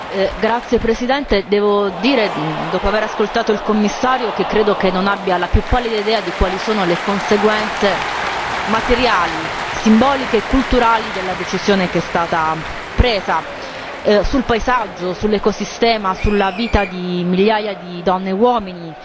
Signora Presidente, onorevoli colleghi, devo dire, dopo avere ascoltato il Commissario, che credo che non abbia la più pallida idea di quali siano le conseguenze materiali, simboliche e culturali della decisione che è stata presa, sul paesaggio, sull'ecosistema, sulla vita di migliaia di donne e uomini.